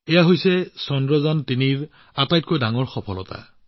এইটোৱেই হৈছে চন্দ্ৰযান৩ৰ আটাইতকৈ ডাঙৰ সফলতা